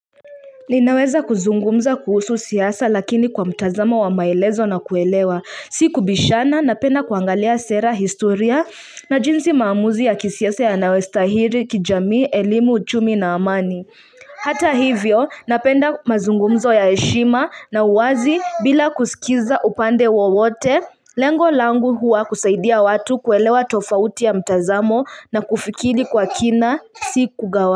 Ninaweza kuzungumza kuhusu siasa lakini kwa mtazamo wa maelezo na kuelewa si kubishana napenda kuangalia sera historia na jinsi maamuzi ya kisiasa yanayostahili kijamii elimu uchumi na amani hata hivyo napenda mazungumzo ya heshima na uwazi bila kusikiza upande wowote lengo langu huwa kusaidia watu kuelewa tofauti ya mtazamo na kufikiri kwa kina si kugawa.